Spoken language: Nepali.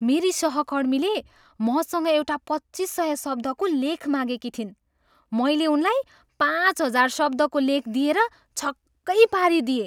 मेरी सहकर्मीले मसँग एउटा पच्चिस सय शब्दको लेख मागेकी थिइन्, मैले उनलाई पाँच हजार शब्दको लेख दिएर छक्कै पारिदिएँ।